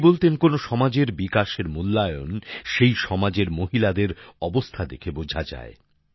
উনি বলতেন কোনো সমাজের বিকাশের মূল্যায়ন সেই সমাজের মহিলাদের অবস্থা দেখে বোঝা যায়